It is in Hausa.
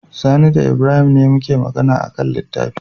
Sani da Ibrahim ne suke Magana akan littafi